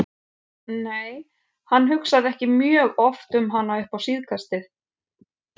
Nei, hann hugsaði ekki mjög oft um hana upp á síðkastið.